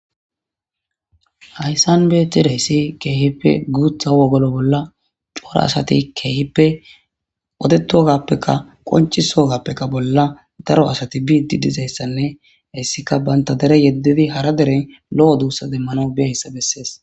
Hyssan beetideyssi keehippe guutha wogolo bolla cora asati keehippe odetugappeka qoncisogappeka bolla daro asati biiddi dizayssanne hayssika banta dere yeddidi hara deren lo'o duussa demmana biyayssa bessees.